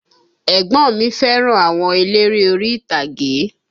Ẹ̀gbọ́n mi fẹ́ràn àwọn eléré orí ìtàgé